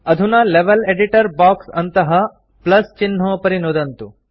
अधुना level editor box अन्तः plus चिह्नोपरि नुदन्तु